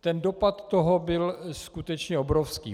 Ten dopad toho byl skutečně obrovský.